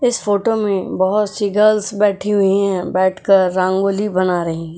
इस फोटो में बहुत सी गर्ल्स बैठी हुई है बैठकर रांगोली बना रही हैं।